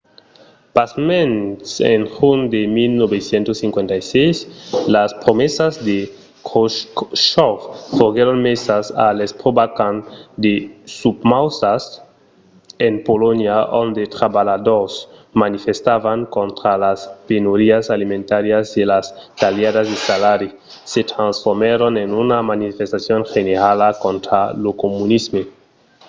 pasmens en junh de 1956 las promesas de khroshchòv foguèron mesas a l'espròva quand de susmautas en polonha ont los trabalhadors manifestavan contra las penurias alimentàrias e las talhadas de salaris se transformèron en una manifestacion generala contra lo comunisme